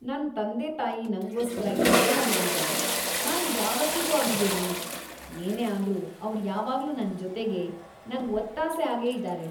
ನನ್ ತಂದೆತಾಯಿ ನಂಗೋಸ್ಕರ ಎಷ್ಟೆಲ್ಲ ಮಾಡಿದಾರೆ.. ನಾನ್ ಯಾವತ್ತಿಗೂ ಅವ್ರಿಗೆ ಋಣಿ. ಏನೇ ಆದ್ರೂ ಅವ್ರ್ ಯಾವಾಗ್ಲೂ ನನ್ ಜೊತೆಗೇ, ನಂಗ್‌ ಒತ್ತಾಸೆ ಆಗೇ ಇದಾರೆ.